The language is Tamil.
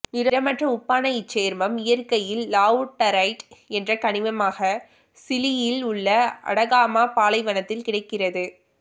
நிறமற்ற உப்பான இச்சேர்மம் இயற்கையில் லாவுடரைட் என்ற கனிமமாக சிலியில் உள்ள அடகாமா பாலைவனத்தில் கிடைக்கிறது